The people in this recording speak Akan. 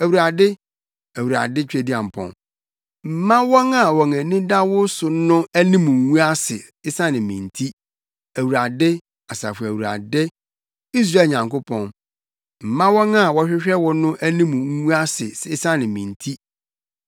Awurade, Awurade Tweduampɔn, mma wɔn a wɔn ani da wo so no, anim ngu ase esiane me nti, Awurade, Asafo Awurade; Israel Nyankopɔn, mma wɔn a wɔhwehwɛ wo no anim ngu ase esiane me nti.